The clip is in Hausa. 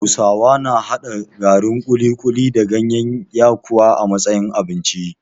Hausawa na haɗa garin kuli-kuli da gayen yakuwa a matsayin abinci